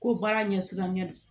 Ko baara ɲɛsiranɲɛ don